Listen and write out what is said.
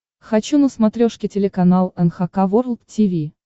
хочу на смотрешке телеканал эн эйч кей волд ти ви